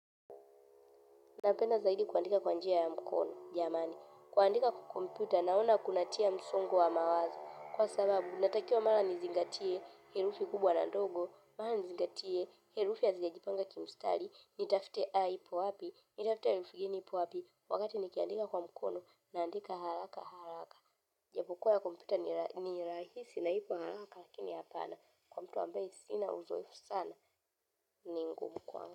Napenda zaidi kuandika kwa njia ya mkono, jamani. Kuandika kwa kompyuta naona kunatia msongo wa mawazo. Kwa sababu, natakiwa mara nizingatie, herufi kubwa na ndogo, mara nizingatie, herufi hazijajipanga kimstari, nitafute A ipo wapi, nitafute erufi ingine ipo wapi, wakati nikiandika kwa mkono, naandika haraka haraka. Ijapokua ya kompyuta ni rahisi na ipo haraka, lakini hapana, kwa mtu ambaye sina uzoefu sana, ni ngumu kwangu.